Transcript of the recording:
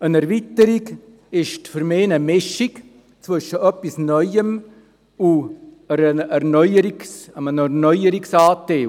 Eine Erweiterung ist für mich eine Mischung zwischen etwas Neuem und einem Teil, der eine Erneuerung betrifft.